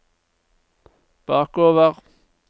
bakover